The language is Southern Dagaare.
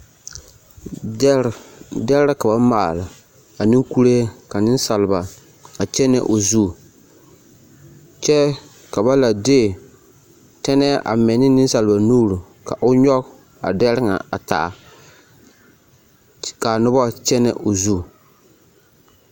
Dɛre dɛre ka ba maale ane kuree ka nensaalba kyɛnɛ o zu kyɛ ka la de tɛnɛɛ a mɛ ne nensaaba nuure ka o nyɔge dɛre ŋa a taa ka a noba kyɛnɛ o zu.